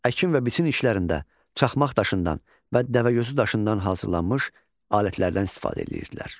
Əkin və biçin işlərində çaxmaq daşından və dəvəgözü daşından hazırlanmış alətlərdən istifadə edirdilər.